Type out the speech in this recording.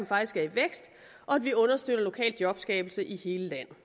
faktisk er i vækst og at vi understøtter lokal jobskabelse i hele landet